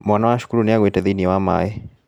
Mwana wa cukuru nĩagũĩte thiĩniĩ wa maaĩ.